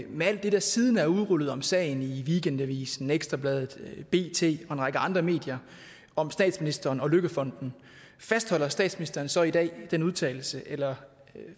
med alt det der siden er udrullet om sagen i weekendavisen ekstra bladet bt og en række andre medier om statsministeren og løkkefonden fastholder statsministeren så i dag den udtalelse eller